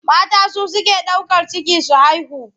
Mata su suke ɗaukar ciki su haihu.